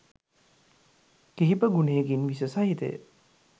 කිහිප ගුනයකින් විෂ සහිතය.